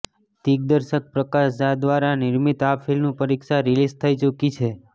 દિગ્દર્શક પ્રકાશ ઝા દ્વારા નિર્મિત આ ફિલ્મ પરીક્ષા રિલીઝ થઇ ચૂકી છે